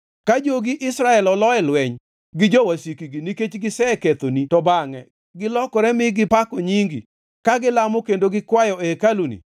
“Ka jogi Israel olo e lweny gi jowasikgi nikech gisekethoni to bangʼe gilokore mi gipako nyingi, ka gilamo kendo gikwayo e hekaluni,